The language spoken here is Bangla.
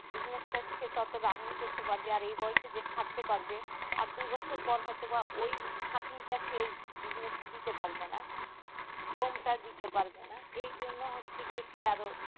bussnies টা সে তত running করতে পারবে আর এই বয়সে যে খাটতে পারবে আর দুই বছর পর হয় তো বা ওই খাটনি টা সে ওই bussnies এ দিতে পারবে না থমটা দিতে পারবে না এই জন্য হচ্ছে সে আরো